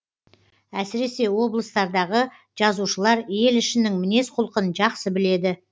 әсіресе облыстардағы жазушылар ел ішінің мінез құлқын жақсы біледі